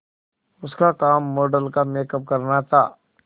उसका काम मॉडल का मेकअप करना था